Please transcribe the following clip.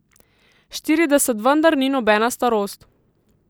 Štirideset vendar ni nobena starost.